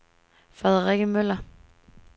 Frederikke Møller